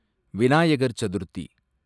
Vinayagar Chaturthi